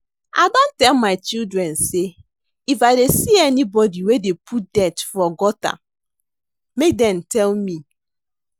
I don tell my children say if dey see anybody wey dey put dirt for gutter make dem tell me